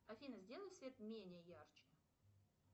афина сделай свет менее ярче